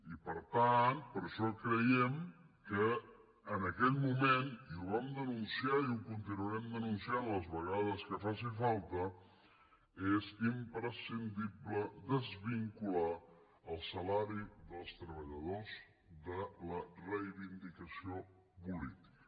i per tant per això creiem que en aquest moment i ho vam denunciar i ho continuarem denunciant les vegades que faci falta és imprescindible desvincular el salari dels treballadors de la reivindicació política